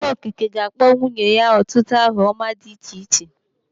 Nwaokike ga-akpọ nwunye ya ọtụtụ aha ọma dị iche iche.